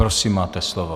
Prosím, máte slovo.